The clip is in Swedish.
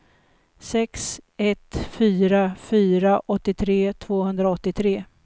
sex ett fyra fyra åttiotre tvåhundraåttiotre